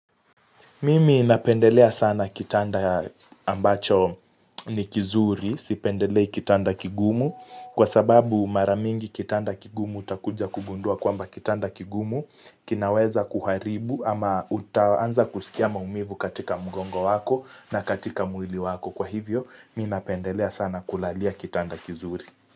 Mimi napendelea sana kitanda ambacho ni kizuri, sipendelei kitanda kigumu. Kwa sababu mara mingi kitanda kigumu utakuja kugundua kwamba kitanda kigumu kinaweza kuharibu ama utaanza kusikia maumivu katika mgongo wako na katika mwili wako. Kwa hivyo, mi napendelea sana kulalia kitanda kizuri.